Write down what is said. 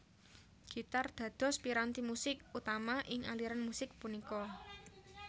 Gitar dados piranti musik utama ing aliran musik punika